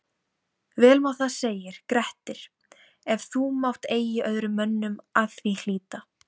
Vel má það segir Grettir, ef þú mátt eigi öðrum mönnum að því hlíta